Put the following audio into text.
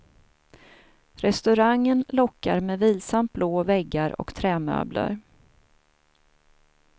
Restaurangen lockar med vilsamt blå väggar och trämöbler.